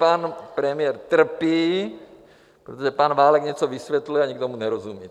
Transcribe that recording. Pan premiér trpí, protože pan Válek něco vysvětluje a nikdo mu nerozumí.